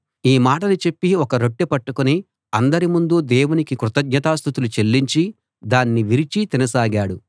ఈ మాటలు చెప్పి ఒక రొట్టె పట్టుకుని అందరి ముందూ దేవునికి కృతజ్ఞతాస్తుతులు చెల్లించి దాన్ని విరిచి తినసాగాడు